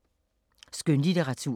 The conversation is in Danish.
Skønlitteratur